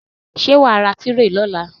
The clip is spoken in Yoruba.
Ṣé wàá ra tírè ní ọ̀la?